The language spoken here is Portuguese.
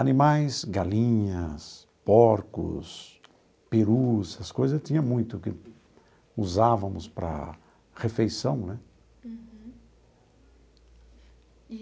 Animais, galinhas, porcos, perus, essas coisas tinha muito que usávamos para refeição, né? Uhum.